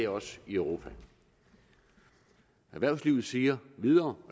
også i europa erhvervslivet siger videre og